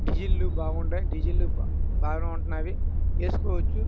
డిసిల్లు బాగా ఉన్నాయి. డిసిల్లు బాగా ఉంటున్నాయి. వేసుకోవచ్చు.